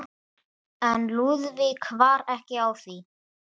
Hörður, hvernig er veðrið á morgun?